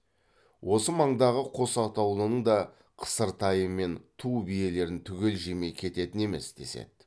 осы маңдағы қос атаулының да қысыр тайы мен ту биелерін түгел жемей кететін емес деседі